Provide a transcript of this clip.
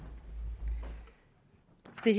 det